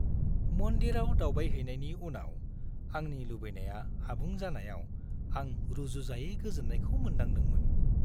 मन्दिराव दावबायहैनायनि उनाव आंनि लुबैनाया आबुं जानायाव आं रुजुजायै गोजोननायखौ मोनदांदोंमोन।